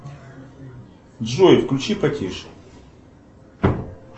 джой включи потише